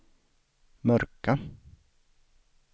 mörka